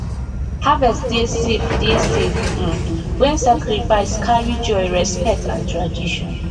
harvest dey safe dey safe um when sacrifice carry joy respect and tradition